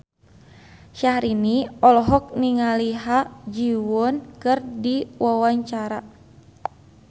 Syahrini olohok ningali Ha Ji Won keur diwawancara